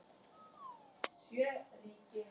Fangar nutu aðstoðar við gerð ganga